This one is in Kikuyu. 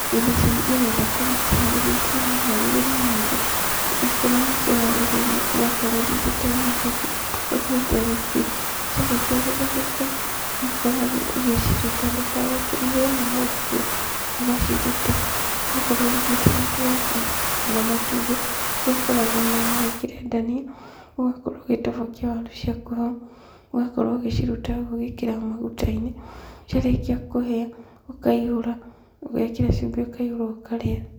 Irio ici nĩgetha ũharĩrĩrie itirĩ mĩharĩrĩrie mĩingĩ. Okorwo nĩ kũharĩrĩria ũgakorwo ũthithĩte waru ciaku, ũgatherũkia. Ciarĩkia gũtherũka, nĩũkoragwo ũgĩciruta ndũkareke ihĩe mũno ikue, ũgaciruta, ũgakorwo ũringĩtie mũtu waku kando na matumbĩ, kũrĩa ũkoragwo o na no wĩkĩre ndania, ũgakorwo ũgĩtobokia waru ciaku hau, ũgakorwo ũgĩciruta hau ũgĩkĩraga magũta-inĩ, ciarĩkia kũhia ũkaihũra, ũgekĩra cumbi ũkaihũra ũkarĩa.